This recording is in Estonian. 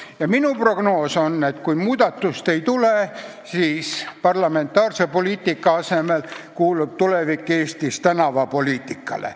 Ja minu prognoos on, et kui muudatust ei tule, siis parlamentaarse poliitika asemel kuulub tulevik Eestis tänavapoliitikale.